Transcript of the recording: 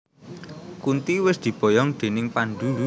Kunti wis diboyong déning Pandhu